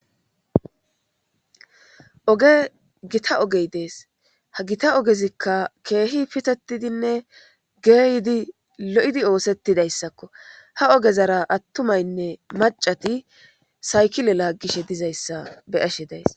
Oge gita ogey dees ha gita ogezikka keehi pitetidinne geeyidi lo7idi oosettidayssakko ha ogezara attumaynne macati saykile laaggishe dizayssa beyashe days.